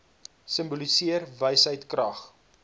simboliseer wysheid krag